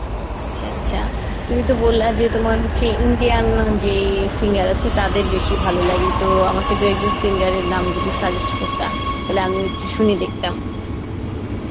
আচ্ছা আচ্ছা তুমি তো বললা যে তোমার হচ্ছে যে Indian যে singer আছে তাদের বেশি ভালো লাগে তো আমাকে দুই একজন singer এর নাম যদি suggest করতা তাহলে আমিও একটু শুনে দেখতাম